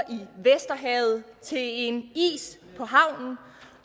i vesterhavet til en is på havnen